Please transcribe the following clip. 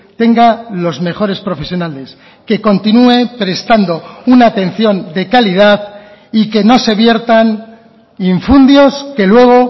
tenga los mejores profesionales que continúe prestando una atención de calidad y que no se viertan infundios que luego